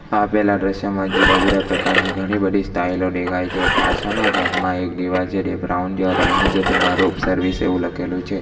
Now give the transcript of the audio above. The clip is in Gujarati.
આપેલા દ્રશ્યમાં જુદા જુદા પ્રકારની ઘણી બધી સ્ટાઈલો દેખાય છે પાછળના ભાગમાં એક દિવાલ છે એ બ્રાઉન જેવા કલર ની છે તેમાં રૂફ સર્વિસ એવું લખેલું છે.